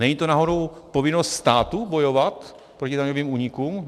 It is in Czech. Není to náhodou povinnost státu bojovat proti daňovým únikům?